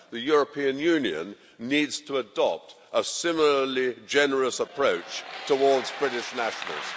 The European Union needs to adopt a similarly generous approach towards British nationals.